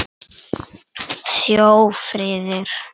Sjö firðir!